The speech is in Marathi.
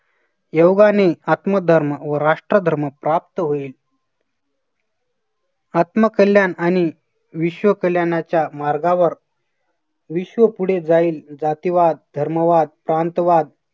योगाने आत्म धर्म व राष्ट्रधर्म प्राप्त होईल. आत्मकल्याण आणि विश्व कल्याणाच्या मार्गावर विश्व पुढे जाईल. जातिवाद, धर्मवाद तांतवाद